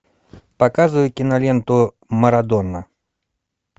показывай киноленту марадона